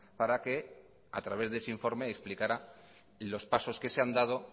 para que a través de ese informe explicara los pasos que se han dado